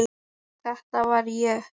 Þetta var ég.